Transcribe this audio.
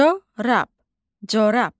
Corab, corab.